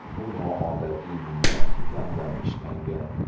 Bu noodatiy bino titandan ishlangan.